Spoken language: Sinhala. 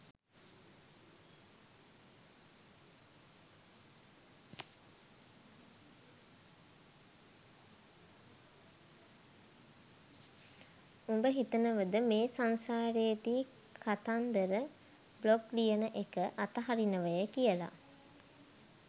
උඹ හිතනවද මේ සංසාරෙදි කතන්දර බ්ලොග් ලියන එක අතහරිනවය කියලා